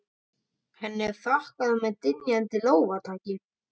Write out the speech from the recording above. Henni er þakkað með dynjandi lófataki.